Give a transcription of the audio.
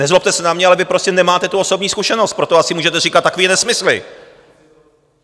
Nezlobte se na mě, ale vy prostě nemáte tu osobní zkušenost, proto asi můžete říkat takové nesmysly!